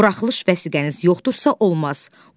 Buraxılış vəsiqəniz yoxdursa, olmaz.